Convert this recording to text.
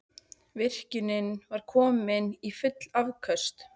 Virkjunin var komin í full afköst